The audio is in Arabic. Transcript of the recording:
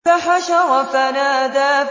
فَحَشَرَ فَنَادَىٰ